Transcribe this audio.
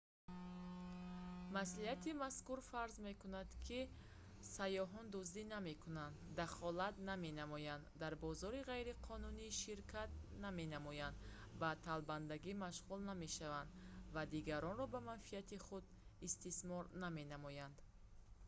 маслиҳати мазкур фарз мекунад ки сайёҳон дуздӣ намекунанд дахолат наменамоянд дар бозори ғайриқонунӣ ширкат наменамоянд ба талбандагӣ машғул намешаванд ва дигаронро ба манфиати худ истисмор наменамоянд